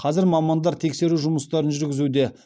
қазір мамандар тексеру жұмыстарын жүргізуде